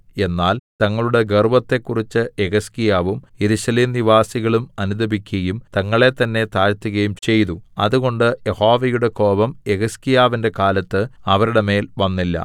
എന്നാൽ തങ്ങളുടെ ഗർവ്വത്തെക്കുറിച്ച് യെഹിസ്കീയാവും യെരൂശലേം നിവാസികളും അനുതപിക്കയും തങ്ങളെത്തന്നെ താഴ്ത്തുകയും ചെയ്തു അതുകൊണ്ട് യഹോവയുടെ കോപം യെഹിസ്കീയാവിന്റെ കാലത്ത് അവരുടെ മേൽ വന്നില്ല